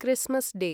Christmas day